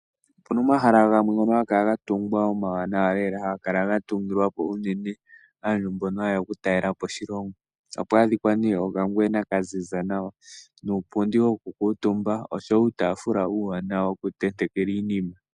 Opu na omahala gamwe ngono haga kala ga tungwa omawanawa lela. Haga kala ga tungilwa po unene aantu mbono haye ya okutalela po oshilongo. Oha pu adhika nee okangwena ka ziza nawa, nuupundi woku kuutumba oshowo uutaafula uuwanawa wokutentekelwa iinima.